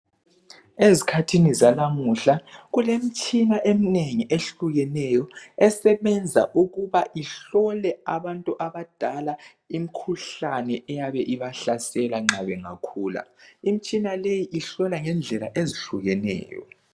Ezikhathini zalamuhla kulemtshina eminengi ehlukeneyo, esebenza ukuba ihlole abantu abadala imkhuhlane eyabe ibahlasela nxa begula bengakhula. Imtshina leyi ihlola ngendlela ezihlukeneyo